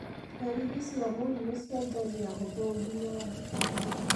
Ndariri cia mũrimũ ciajangia hũthũ ginya nditũ.